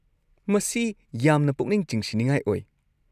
ꯃꯁꯤ ꯌꯥꯝꯅ ꯄꯨꯛꯅꯤꯡ ꯆꯤꯡꯁꯤꯟꯅꯤꯡꯉꯥꯏ ꯑꯣꯏ꯫